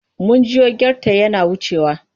Mun jiyo gyartai yana wucewa.